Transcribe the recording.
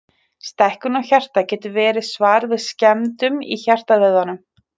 Stækkun á hjarta getur verið svar við skemmdum í hjartavöðvanum.